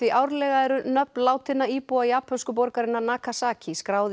árlega eru nöfn látinna íbúa japönsku borgarinnar Nagasaki skráð í